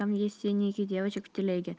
там есть финики девочек теги